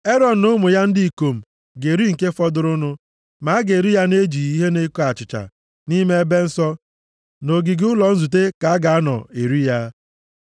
+ 6:16 \+xt Lev 2:3\+xt*Erọn na ụmụ ya ndị ikom ga-eri nke fọdụrụnụ. Ma a ga-eri ya na-ejighị ihe na-eko achịcha, nʼime ebe nsọ, nʼogige ụlọ nzute ka a ga-anọ eri ya.